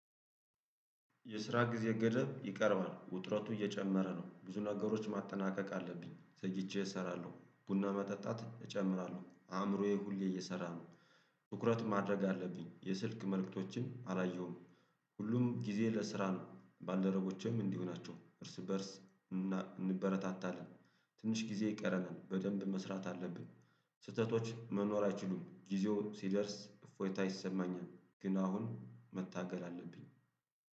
የስራ ጊዜ ገደብ ይቀርባል ውጥረቱ እየጨመረ ነው ብዙ ነገሮች ማጠናቀቅ አለብኝ ዘግይቼ እሰራለሁ ቡና መጠጣት እጨምራለሁ አእምሮዬ ሁሌ እየሰራ ነው። ትኩረት ማድረግ አለብኝ የስልክ መልእክቶችን አላየሁም። ሁሉም ጊዜ ለስራ ነው ባልደረቦቼም እንዲሁ ናቸው እርስ እንበረታታለን። ትንሽ ጊዜ ይቀረናል በደንብ መስራት አለብን። ስህተቶች መኖር አይችሉም ጊዜው ሲደርስ እፎይታ ይሰማኛል። ግን አሁን መታገል አለብኝ